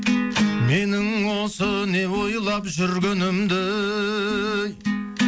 менің осы не ойлап жүргенімді